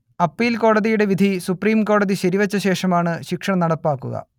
appeal കോടതിയുടെ വിധി സുപ്രീംകോടതി ശരിവെച്ച ശേഷമാണ് ശിക്ഷ നടപ്പാക്കുക